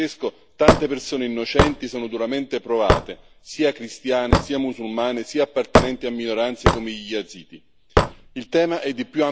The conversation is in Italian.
Come ha avuto modo di dire Papa Francesco, tante persone innocenti sono duramente provate, sia cristiane, sia musulmane, sia appartenenti a minoranze come gli yazidi.